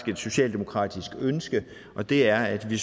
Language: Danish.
socialdemokratisk ønske og det er at vi